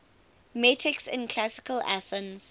metics in classical athens